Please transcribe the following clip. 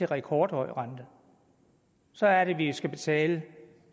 rekordhøj rente så er det vi skal betale